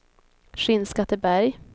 Skinnskatteberg